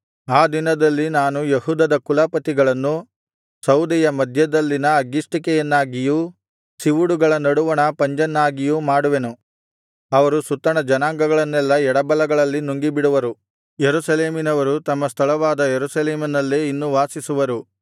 ಆ ದಿನದಲ್ಲಿ ನಾನು ಯೆಹೂದದ ಕುಲಪತಿಗಳನ್ನು ಸೌದೆಯ ಮಧ್ಯದಲ್ಲಿನ ಅಗ್ಗಿಷ್ಟಿಕೆಯನ್ನಾಗಿಯೂ ಸಿವುಡುಗಳ ನಡುವಣ ಪಂಜನ್ನಾಗಿಯೂ ಮಾಡುವೆನು ಅವರು ಸುತ್ತಣ ಜನಾಂಗಗಳನ್ನೆಲ್ಲಾ ಎಡಬಲಗಳಲ್ಲಿ ನುಂಗಿಬಿಡುವರು ಯೆರೂಸಲೇಮಿನವರು ತಮ್ಮ ಸ್ಥಳವಾದ ಯೆರೂಸಲೇಮಿನಲ್ಲೇ ಇನ್ನು ವಾಸಿಸುವರು